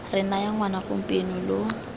re naya ngwana gompieno lo